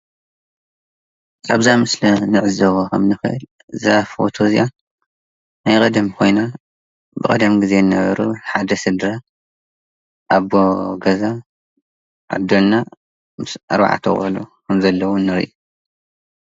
ኣብ እዛ ምስሊ ከም ንግንዘቦ እዛ ፎቶ ናይ ቀደም ምስሊ ኮይና ብጣልያ ዝነበሩ ገዛ ኣቦና ኣዶ 4ተ ቆልዑ ንሪኢ ፡፡